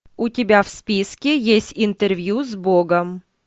у тебя в списке есть интервью с богом